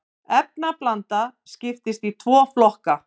efnablanda skiptist í tvo flokka